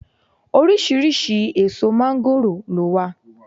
Oríṣiriṣi èso máńgòrò ló wà